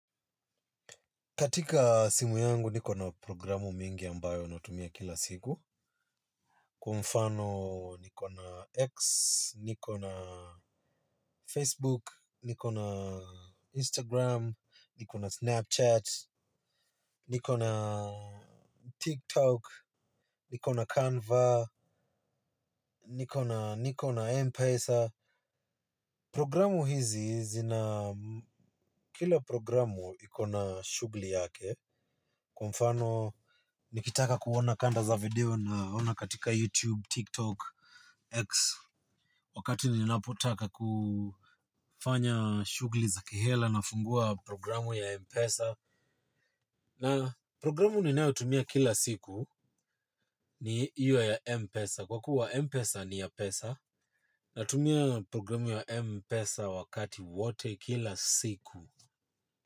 Katika simu yangu niko na programu mingi ambayo natumia kila siku. Kwa mfano niko na X, niko na Facebook, niko na Instagram, niko na Snapchat, niko na TikTok, niko na Canva, niko na M-Pesa. Programu hizi zina kila programu ikona shugli yake kwa mfano nikitaka kuona kanda za video naona katika YouTube tiktok X wakati ninapitaka kufanya shughuli za ki hela nafungua programu ya mpesa. Na programu ninao tumia kila siku ni io ya Mpesa. Kwa kuwa Mpesa ni ya pesa na tumia programu ya Mpesa wakati wote kila siku.